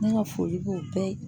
Ne ka foli b'o bɛɛ ye